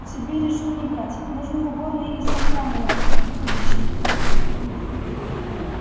себе решил не брать можно в уборной из-под крана напиться как обычно